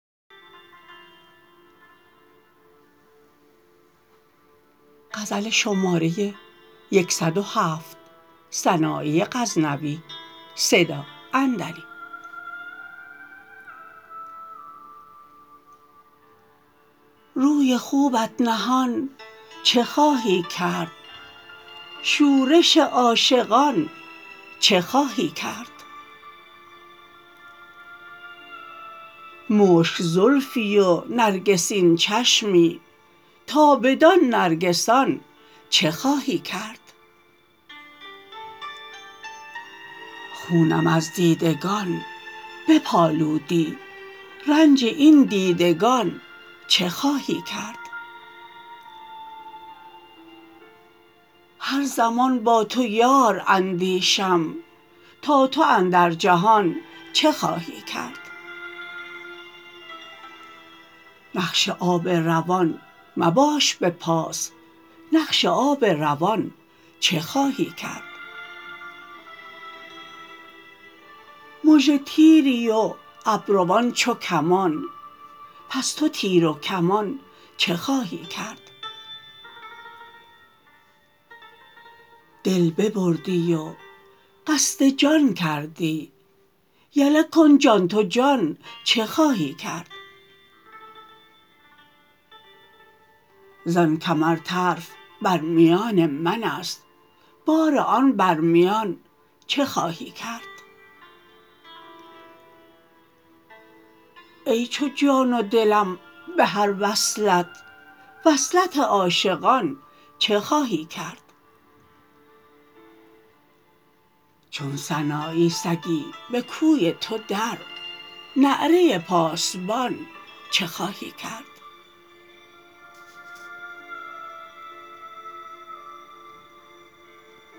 روی خوبت نهان چه خواهی کرد شورش عاشقان چه خواهی کرد مشک زلفی و نرگسین چشمی تا بدان نرگسان چه خواهی کرد خونم از دیدگان بپآلودی رنج این دیدگان چه خواهی کرد هر زمان با تو یار اندیشم تا تو اندر جهان چه خواهی کرد نقش آب روان مباش به پاس نقش آب روان چه خواهی کرد مژه تیری و ابروان چو کمان پس تو تیر و کمان چه خواهی کرد دل ببردی و قصد جان کردی یله کن جان تو جان چه خواهی کرد زان کمر طرف بر میان من است بار آن بر میان چه خواهی کرد ای چو جان و دلم به هر وصلت وصلت عاشقان چه خواهی کرد چون سنایی سگی به کوی تو در نعره پاسبان چه خواهی کرد